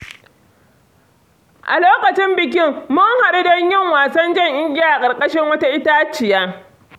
A lokacin bikin, mun haɗu don yin wasan jan igiya a ƙarƙashin wata itaciya.